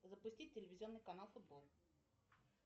запустить телевизионный канал футбол